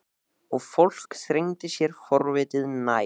Og fólkið þrengdi sér forvitið nær.